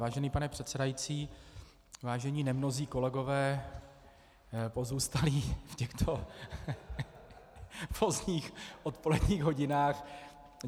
Vážený pane předsedající, vážení nemnozí kolegové, pozůstalí v těchto pozdních odpoledních hodinách.